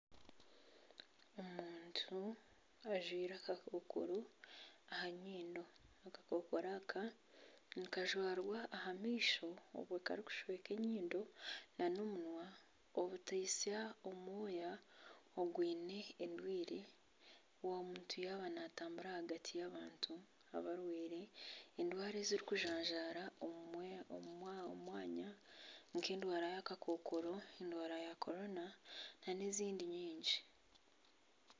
Omuntu ajwaire akakokoro aha nyindo. Akakokoro aka nikajwarwa aha maisho obwe karikushweka enyindo n'omunwa obuteitsya orwoya orwine endwara omuntu yaaba naatambura ahagati y'abantu abarwaire endwara ezirikujanjara omu mwanya nk'endwara y'akakonko, endwara ya korona n'ezindi nyingi.